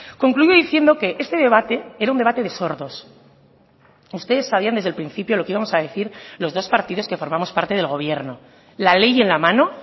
concluyo diciendo que este debate era un debate de sordos ustedes sabían desde el principio lo que íbamos a decir los dos partidos que formamos parte del gobierno la ley en la mano